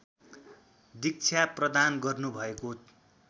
दीक्षा प्रदान गर्नुभएको